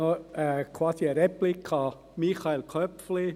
Ich habe eine Replik an Michael Köpfli: